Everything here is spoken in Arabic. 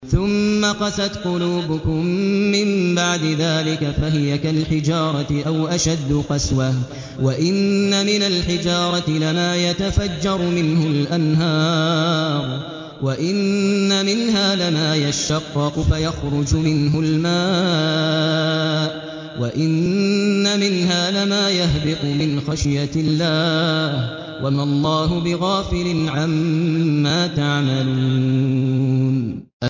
ثُمَّ قَسَتْ قُلُوبُكُم مِّن بَعْدِ ذَٰلِكَ فَهِيَ كَالْحِجَارَةِ أَوْ أَشَدُّ قَسْوَةً ۚ وَإِنَّ مِنَ الْحِجَارَةِ لَمَا يَتَفَجَّرُ مِنْهُ الْأَنْهَارُ ۚ وَإِنَّ مِنْهَا لَمَا يَشَّقَّقُ فَيَخْرُجُ مِنْهُ الْمَاءُ ۚ وَإِنَّ مِنْهَا لَمَا يَهْبِطُ مِنْ خَشْيَةِ اللَّهِ ۗ وَمَا اللَّهُ بِغَافِلٍ عَمَّا تَعْمَلُونَ